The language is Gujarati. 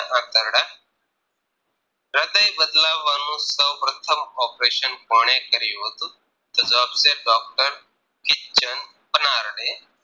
હ્રદય બદલાવવાનું સૌપ્રથમ operation કોણે કર્યું હતું તો જવાબ છે Doctor Kitchen Panarde